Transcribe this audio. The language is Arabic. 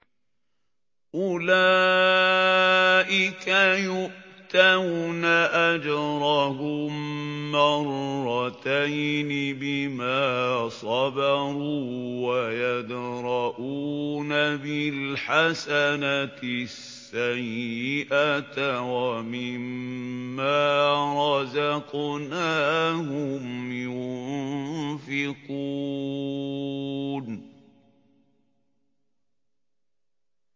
أُولَٰئِكَ يُؤْتَوْنَ أَجْرَهُم مَّرَّتَيْنِ بِمَا صَبَرُوا وَيَدْرَءُونَ بِالْحَسَنَةِ السَّيِّئَةَ وَمِمَّا رَزَقْنَاهُمْ يُنفِقُونَ